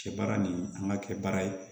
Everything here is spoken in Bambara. Kɛ baara nin an ka kɛ baara ye